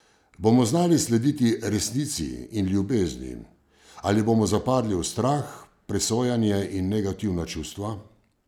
Bomo znali slediti Resnici in Ljubezni, ali bomo zapadli v strah, presojanje in negativna čustva?